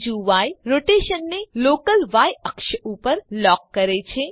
બીજું ય રોટેશનને local Y અક્ષ ઉપર લોક કરે છે